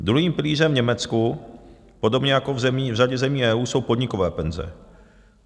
Druhým pilířem v Německu, podobně jako v řadě zemí EU, jsou podnikové penze.